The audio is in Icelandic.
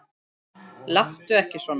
Láttu ekki svona